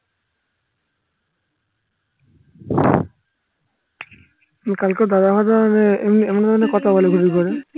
কালকেও দাদাভাইদের এমনি ধরনের কথা বলে ঘুরি করে